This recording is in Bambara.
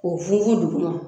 K'o fun fun duguma